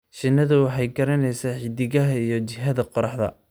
Shinnidu waxay garanaysaa xiddigaha iyo jihada qorraxda.